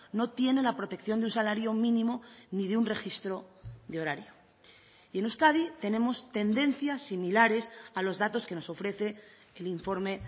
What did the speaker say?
no tiene la protección de un salario mínimo ni de un registro de horario y en euskadi tenemos tendencias similares a los datos que nos ofrece el informe